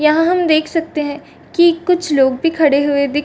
यहां हम देख सकते हैं कि कुछ लोग भी खड़े हुए दिख --